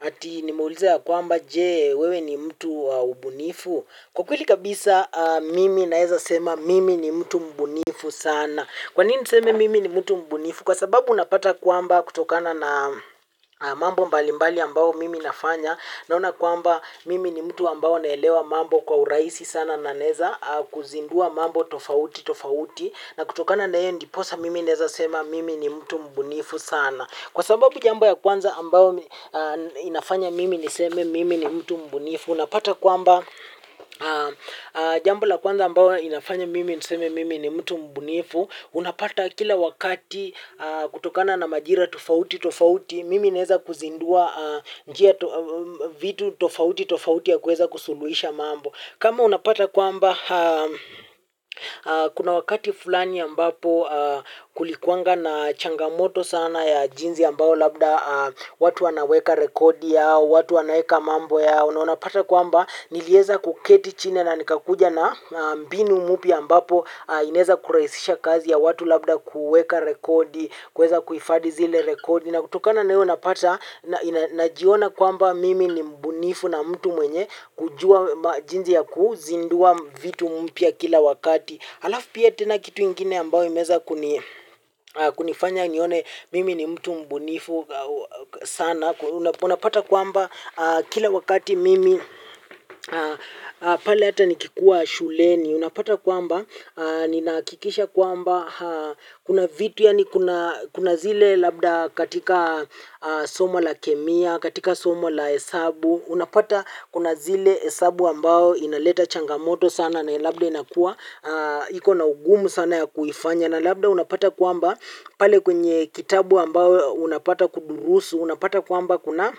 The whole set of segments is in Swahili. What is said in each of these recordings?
Ati nimeuliza ya kwamba je wewe ni mtu wa ubunifu. Kwa kweli kabisa mimi naweza sema mimi ni mtu mbunifu sana. Kwa nini niseme mimi ni mtu mbunifu? Kwa sababu unapata kwamba kutokana na mambo mbalimbali ambao mimi nafanya. Naona kwamba mimi ni mtu ambaye naelewa mambo kwa urahisi sana na naweza kuzindua mambo tofauti tofauti. Na kutokana na hiyo ndiposa mimi naweza sema mimi ni mtu mbunifu sana. Kwa sababu jambo ya kwanza ambayo inafanya mimi niseme mimi ni mtu mbunifu, unapata kwamba jambo la kwanza ambao inafanya mimi niseme mimi ni mtu mbunifu, unapata kila wakati kutokana na majira tofauti tofauti, mimi naweza kuzindua vitu tofauti tofauti ya kuweza kusuluhisha mambo. Kama unapata kwamba kuna wakati fulani ambapo kulikuwanga na changamoto sana ya jinsi ambayo labda watu wanaweka rekodi yao, watu wanaweka mambo yao. Na unapata kwamba niliweza kuketi chini na nikakuja na mbinu mpya ambapo inaweza kurahisisha kazi ya watu labda kuweka rekodi, kuweza kuhifadhi zile rekodi. Kutokana na hiyo unapata, najiona kwamba mimi ni mbunifu na mtu mwenye kujua jinsi ya kuzindua vitu mpya kila wakati. Alafu pia tena kitu ingine ambao imeweza kunifanya nione mimi ni mtu mbunifu sana. Unapata kwamba kila wakati mimi pale hata nikikuwa shuleni. Unapata kwamba ninahakikisha kwamba kuna vitu yaani kuna zile labda katika somo la kemia, katika somo la hesabu unapata kuna zile hesabu ambayo inaleta changamoto sana na labda inakuwa. Iko na ugumu sana ya kuifanya na labda unapata kwamba pale kwenye kitabu ambayo unapata kudurusu. Unapata kwamba kuna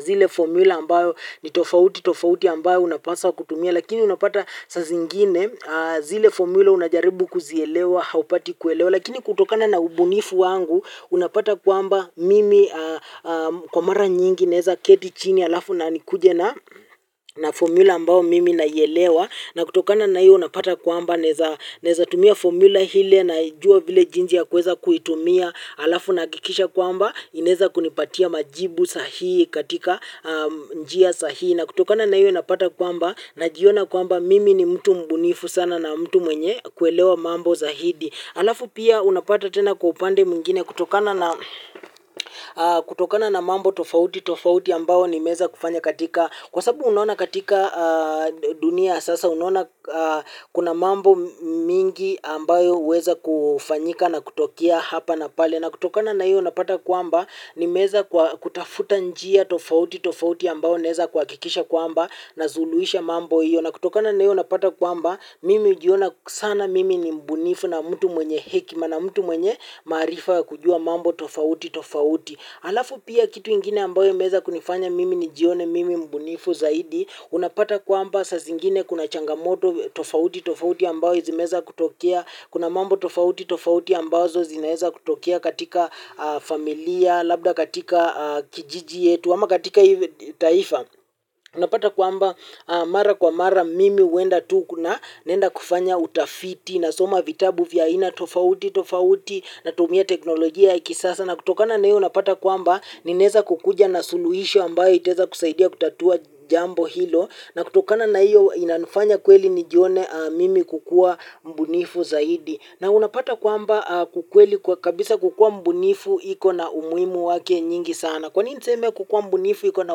zile formula ambayo ni tofauti tofauti ambayo unapaswa kutumia lakini unapata saa zingine zile formula unajaribu kuzielewa haupati kuelewa lakini kutokana na ubunifu wangu unapata kwamba mimi kwa mara nyingi naweza keti chini alafu na nikuje na formula ambao mimi naielewa na kutokana na hiyo unapata kwamba naweza naweza tumia formula ile naijua vile jinsi ya kuweza kuitumia alafu nahakikisha kwamba inaweza kunipatia majibu sahihi katika njia sahihi. Na kutokana na hiyo unapata kwamba najiona kwamba mimi ni mtu mbunifu sana na mtu mwenye kuelewa mambo zaidi. Alafu pia unapata tena kwa upande mwingine kutokana na mambo tofauti tofauti ambao nimeweza kufanya katika. Kwa sababu unaona katika dunia ya sasa unaona kuna mambo mingi ambayo huweza kufanyika na kutokea hapa na pale. Na kutokana na hiyo unapata kwamba nimeweza kwa kutafuta njia tofauti tofauti ambao naweza kuhakikisha kwamba na suluhisha mambo hiyo na kutokana na hiyo unapata kwamba mimi hujiona sana mimi ni mbunifu na mtu mwenye hekima na mtu mwenye maarifa ya kujua mambo tofauti tofauti alafu pia kitu kingine ambacho kimeweza kunifanya mimi nijione mimi mbunifu zaidi. Unapata kwamba saa zingine kuna changamoto tofauti tofauti ambao zimeweza kutokea. Kuna mambo tofauti tofauti ambazo zinaweza kutokea katika familia labda katika kijiji chetu ama katika taifa. Unapata kwamba mara kwa mara mimi huenda tu kuna naenda kufanya utafiti. Na soma vitabu vya aina tofauti tofauti natumia teknolojia ya kisasa na kutokana na hiyo unapata kwamba ninaweza kukuja na suluhisho ambayo itaweza kusaidia kutatua jambo hilo na kutokana na hiyo inanifanya kweli nijione mimi kukua mbunifu zaidi na unapata kwamba kwa kweli kabisa kukua mbunifu iko na umuhimu wake nyingi sana kwa nini niseme kukuwa mbunifu iko na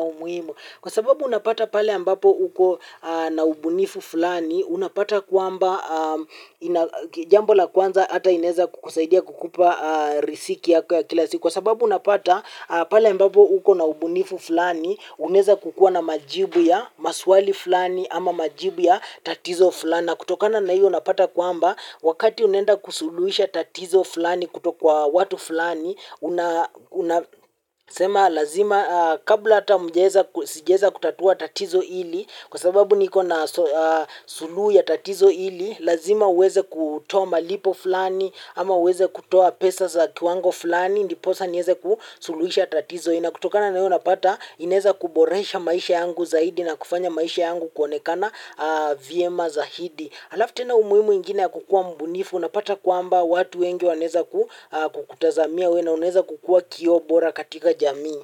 umuhimu kwa sababu unapata pale ambapo uko na ubunifu fulani unapata kwamba jambo la kwanza hata inaweza kukusaidia kukupa riziki yako ya kila siku kwa sababu unapata pale ambapo uko na ubunifu fulani unaweza kukua na majibu ya maswali fulani ama majibu ya tatizo fulani na kutokana na hiyo unapata kwamba wakati unaenda kusuluhisha tatizo fulani kutokwa watu fulani unasema lazima kabla hata sijaweza kutatua tatizo hili kwa sababu niko na suluhu ya tatizo hili, lazima uweze kutoa malipo fulani, ama uweze kutoa pesa za kiwango fulani, ndiposa niweze kusuluhisha tatizo hili. Na kutokana na hiyo unapata, inaweza kuboresha maisha yangu zaidi na kufanya maisha yangu kuonekana vyema zaidi. Alafu tena umuhimu nyingine ya kukuwa mbunifu, unapata kwamba watu wengi wanaweza kukutazamia wewe na unaweza kukuwa kioo bora katika jamii.